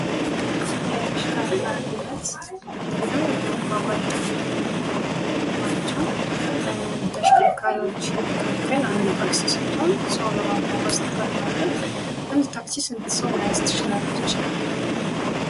ስለተሽከርካሪነት ማለትም ለመጓጓዣነት ከምንገለገልባቸው ተሽከርካሪዎች አንዱ ታክሲ ስትሆን ሰው ለማጓጓዝ ትጠቅማለች። አንድ ታክሲ ስንት ሰው መያዝ ትችላለች ?